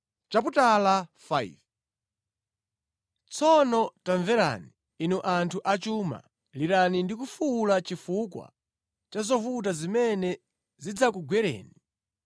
Tsono tamverani, inu anthu achuma, lirani ndi kufuwula chifukwa cha zovuta zimene zidzakugwereni.